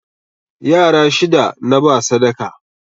Yara shida naba sadaka